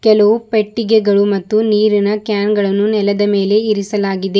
ಕೆಲುವು ಪೆಟ್ಟಿಗೆಗಳು ಮತ್ತು ನೀರಿನ ಕ್ಯಾನ್ ಗಳನ್ನು ನೆಲದ ಮೇಲೆ ಇರಿಸಲಾಗಿದೆ.